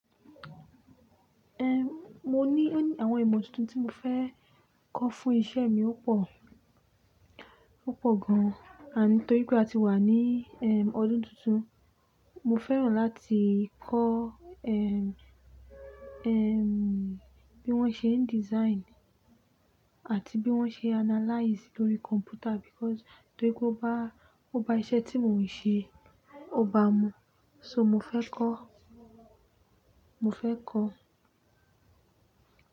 Ehn, mo ní àwọn ìmọ̀ tuntun tí mo fẹ́ kọ́ fún iṣẹ́ mi ó pọ̀, ó pọ̀ gan an. Nítorí pé a ti wà ní ehn ọdún tuntun, mo fẹ́ràn láti kọ́ ehn, ehn bí wọ́n ṣe ń design àti bí wọ́n ṣe analyze lórí computer because torí pé ó bá, ó bá iṣẹ́ tí mò ń ṣe, ó bá mú. So mo fẹ́ kọ́, mo fẹ́ kọ́